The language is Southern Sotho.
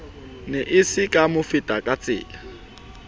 ne e se ka mofetakatsela